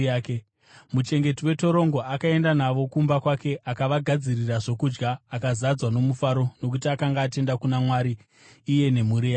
Muchengeti wetorongo akaenda navo kumba kwake akavagadzirira zvokudya; akazadzwa nomufaro nokuti akanga atenda kuna Mwari, iye nemhuri yake.